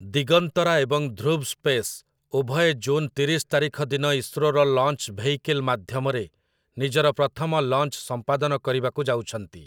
ଦିଗନ୍ତରା ଏବଂ ଧୃବ୍ ସ୍ପେସ୍ ଉଭୟେ ଜୁନ ତିରିଶ ତାରିଖ ଦିନ ଇସ୍ରୋର ଲଞ୍ଚ୍ ଭେଇକିଲ୍ ମାଧ୍ୟମରେ ନିଜର ପ୍ରଥମ ଲଞ୍ଚ୍ ସମ୍ପାଦନ କରିବାକୁ ଯାଉଛନ୍ତି ।